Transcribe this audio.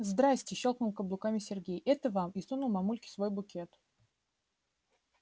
здравствуйте щёлкнул каблуками сергей это вам и сунул мамульке свой букет